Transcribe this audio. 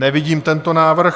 Nevidím tento návrh.